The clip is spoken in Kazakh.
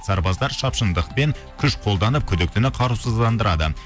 сарбаздар шапшандықпен күш қолданып күдіктіні қарусыздандырады